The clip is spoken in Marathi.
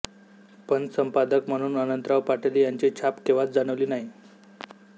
पण संपादक म्हणून अनंतराव पाटील यांची छाप केव्हाच जाणवली नाही